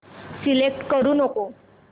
select करू नको